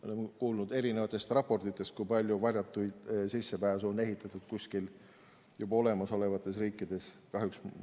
Oleme kuulnud eri raportites, kui palju varjatuid sissepääse on kuskil riikides juba olemasolevates ehitatud.